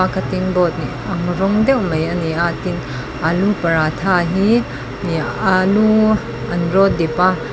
a cutting board ang rawng deuh mai ani a tin alu paratha hi ehh alu an rawt dip a.